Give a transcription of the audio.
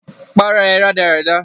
Para ẹ rádaràda!